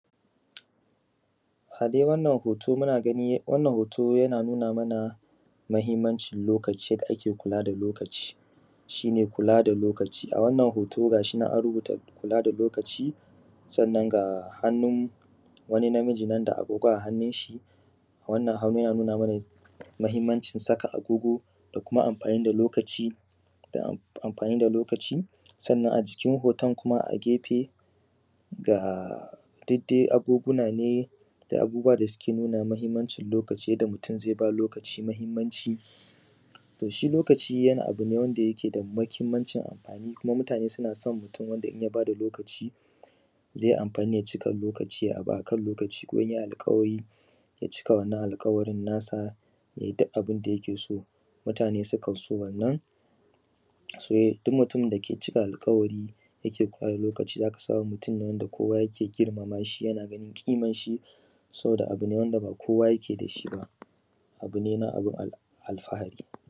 lokaci mahimmanci toshi lokaci wani abune mahimmancin amfani kuma mutane suna son mutum wanda yake bada lokaci zai amfani ya cika lokaci ya baka lokaci kuma inyai alkawari ya cika wannan alkawarin mutane sukan so wannan duk mutumin dake kula da alkawari yake kula da lokaci zaka samu mutane da kowa yake girmamashi yana ganin kimanshi saboda wanda ba kowa yake dashi ba abune na abun alfahari